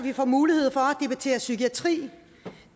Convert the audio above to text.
at vi får mulighed for at debattere psykiatri